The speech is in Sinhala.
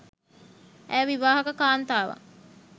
ඇය විවාහක කාන්තාවක්